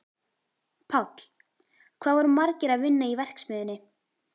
Páll: Hvað voru margir að vinna í verksmiðjunni?